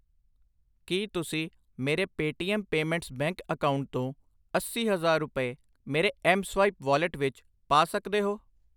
ਕਿ ਤੁਸੀਂ ਮੇਰੇ ਪੇਟੀਐਮ ਪੇਮੈਂਟਸ ਬੈਂਕ ਅਕਾਊਂਟ ਤੋਂ ਅੱਸੀ ਹਜ਼ਾਰ ਰੁਪਏ ਮੇਰੇ ਐਮਸਵਾਇਪ ਵਾਲਿਟ ਵਿੱਚ ਪਾ ਸਕਦੇ ਹੋ ?